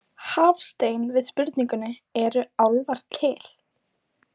Hafstein við spurningunni Eru álfar til?